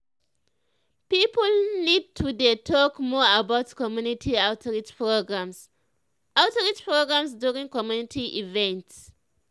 people need to dey talk more about community outreach programs outreach programs during community events.